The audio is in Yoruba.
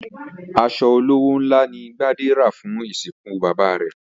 As̩o̩ olówó ńlá ni Gbadé rà fún ìsìnkú bàbá rè̩